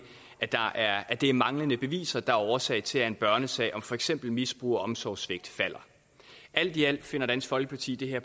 at det er manglende beviser der er årsag til at en børnesag om for eksempel misbrug og omsorgssvigt falder alt i alt finder dansk folkeparti det her